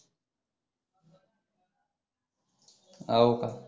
हो का